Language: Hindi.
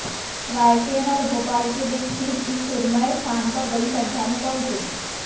रायसेन और भोपाल के बीच स्थित इस सुरम्य स्थान पर बड़ी संख्या में पहुंचे